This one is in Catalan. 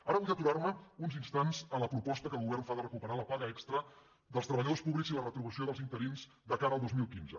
ara vull aturar·me uns instants en la proposta que el go·vern fa de recuperar la paga extra dels treballadors pú·blics i la retribució dels interins de cara al dos mil quinze